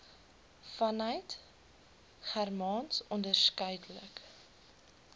vanuit germaans onderskeidelik